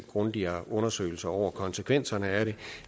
grundigere undersøgelser over konsekvenserne af det